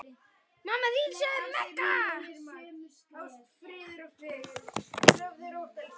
Þannig minnist ég Magga.